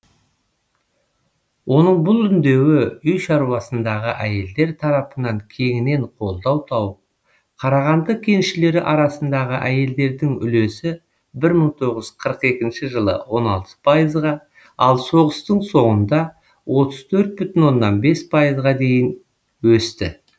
оның бұл үндеуі үй шаруасыңдағы әйелдер тарапынан кеңінен қолдау тауып қарағанды кеншілері арасындағы әйелдердің үлесі бір мың тоғыз жүз қырық екінші жылы он алты пайызға ал соғыстың соңында отыз төрт бүтін оннан бес пайызға дейін өсті